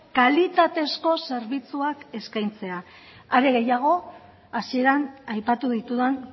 kalitatezko zerbitzuak eskaintzea are gehiago hasieran aipatu ditudan